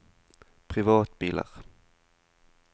privatbiler